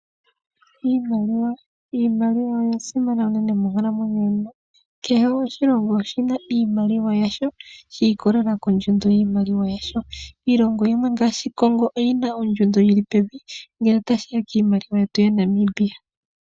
Iimaliwa Iimaliwa oya simana unene monkalamwenyo yomuntu. Kehe oshilongo oshi na iimaliwa yasho shi ikolelela kondjundo yiimaliwa nasho. Iilongo yimwe ngaashi Congo oyi na ondjundo yi li pevi ngele tashi ya kiimaliwa yetu ya Namibia.